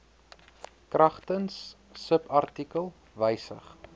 kragtens subartikel wysig